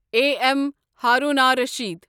A M Harun R Rashid